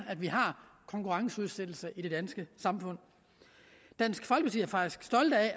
at vi har konkurrenceudsættelser i det danske samfund dansk folkeparti